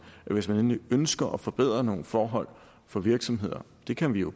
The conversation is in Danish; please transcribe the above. hvis man endelig ønsker at forbedre nogle forhold for virksomheder det kan vi jo